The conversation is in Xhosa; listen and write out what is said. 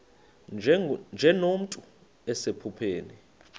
nje nomntu osephupheni